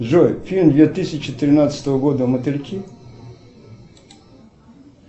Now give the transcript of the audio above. джой фильм две тысячи тринадцатого года мотыльки